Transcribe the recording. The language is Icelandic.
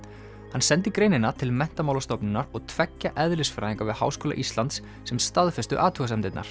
hann sendi greinina til Menntamálastofnunar og tveggja eðlisfræðinga við Háskóla Íslands sem staðfestu athugasemdirnar